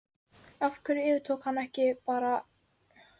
Af hverju yfirtók hann bara ekki lið í Lettlandi?